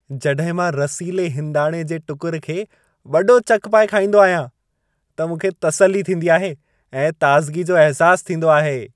जॾहिं मां रसीले हिंदाणे जे टुकर खे वॾो चक पाए खाईंदो आहियां त मूंखे तसल्ली थींदी आहे ऐं ताज़गी जो अहिसासु थींदो आहे।